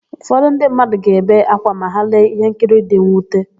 Ụfọdụ ndị mmadụ ga-ebe ákwá ma ha lee íhénkiri dị nnwute.